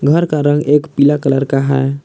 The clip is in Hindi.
घर का रंग एक पीला कलर का है।